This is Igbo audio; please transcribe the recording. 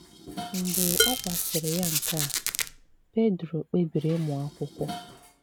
Mgbe ọ gwasịrị ya nke a, Pedro kpebiri ịmụ akwụkwo